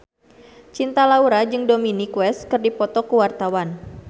Cinta Laura jeung Dominic West keur dipoto ku wartawan